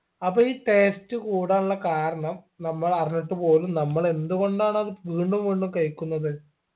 അപ്പൊ ഈ taste കൂടാനുള്ള കാരണം നമ്മൾ അറിഞ്ഞിട്ട് പോലും നമ്മൾ എന്തുകൊണ്ടാണത് വീണ്ടും വീണ്ടും കഴിക്കുന്നത്